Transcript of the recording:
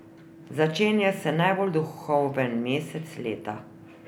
Začenja se najbolj duhoven mesec leta.